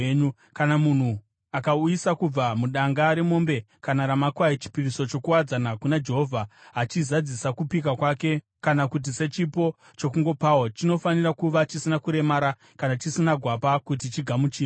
Kana munhu akauyisa kubva mudanga remombe kana ramakwai chipiriso chokuwadzana kuna Jehovha achizadzisa kupika kwake kana kuti sechipo chokungopawo, chinofanira kuva chisina kuremara kana chisina gwapa kuti chigamuchirwe.